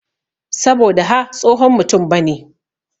Saboda ha tsohon mutum bane.